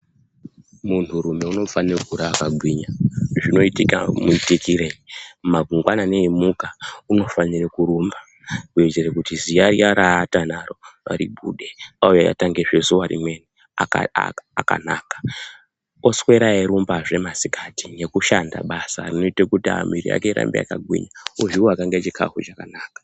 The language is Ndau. Munthurume unofanira kukura akagwinya, zvinoitika muitikirei mangwanani eimuka unofanira kurumba kuitira kuti ziya riya raaata naro ribude, uye atangezve zuwa rimweni akaanaka, oswera eirumbazve masikati nekushanda basa rinoite kuti mwiri yake irambe yakagwinya ozviaka ngezvikafu zvakanaka.